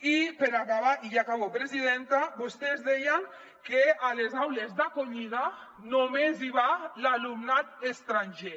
i per acabar i ja acabo presidenta vostès deien que a les aules d’acollida només hi va l’alumnat estranger